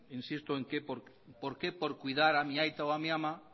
insisto por qué por cuidar a mi aita o a mi ama